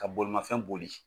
Ka bolimafɛn boli